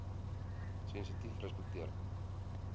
sensitiefrespekteer